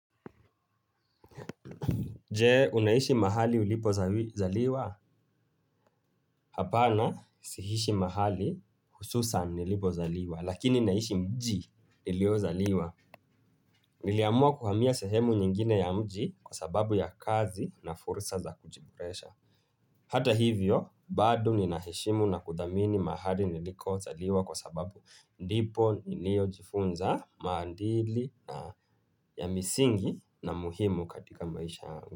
Je, unaishi mahali ulipo zaliwa? Hapana, si ishi mahali hususan nilipozaliwa, lakini naishi mji niliozaliwa. Niliamua kuhamia sehemu nyingine ya mji kwa sababu ya kazi na fursa za kujiboresha. Hata hivyo, bado ninaheshimu na kudhamini mahali nilikozaliwa kwa sababu ndipo nilio jifunza maadili na ya misingi na muhimu katika maisha yangu.